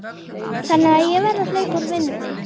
Þannig að ég verð að hlaupa úr vinnunni.